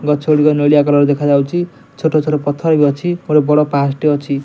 ଗଛ ଗୁଡିକ ନେଳିଆ କଲର ଦେଖାଯାଉଚି। ଛୋଟ ଛୋଟ ପଥର ବି ଅଛି। ବଡ ପାହାଚ ଟି ଅଛି।